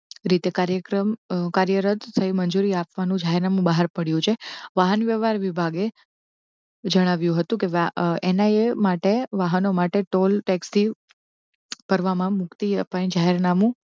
રીતે કાર્યક્રમ કાર્યરદ મંજૂરી આપવા નું જાહેરનામું બહાર પડયુ છે. વાહન વ્યવહાર વિભાગે જણાવ્યું હતું કે એના એ માટે વાહનો માટે ટોલ taxi કરવામાં મુક્તિ અપાય જાહેરનામું